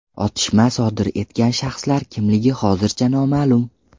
Otishma sodir etgan shaxslar kimligi hozircha noma’lum.